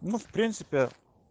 ну в принципе